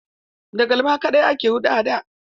Da galma kaɗai ake huɗa a da.